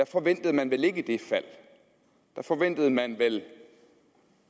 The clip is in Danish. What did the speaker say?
forventede man vel ikke det fald der forventede man vel